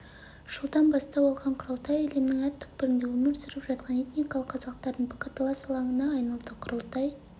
жылдан бастау алған құрылтай әлемнің әр түкпірінде өмір сүріп жатқан этникалық қазақтардың пікірталас алаңына айналды құрылтай